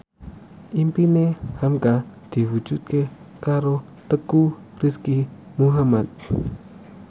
impine hamka diwujudke karo Teuku Rizky Muhammad